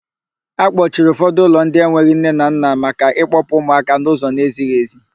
Akpọchiri ụfọdụ ụlọ ndị enweghị nne na nna maka ịkpọpụ ụmụaka n'ụzọ n'ezighị èzí.